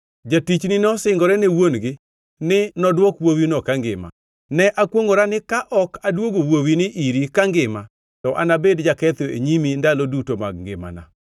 Jatichni nosingore ne wuon-gi ni nodwok wuowino kangima. Ne awacho ni, ‘Ne akwongʼora ni ka ok aduogo wuowini iri kangima to anabed jaketho e nyimi ndalo duto mag ngimana!’